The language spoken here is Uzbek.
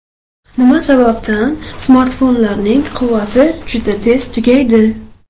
Nima sababdan smartfonlarning quvvati juda tez tugaydi?.